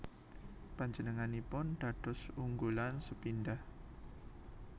Panjenenganipun dados unggulan sepindhah